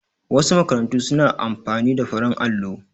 Wasu makarantu su na amfani da farin allo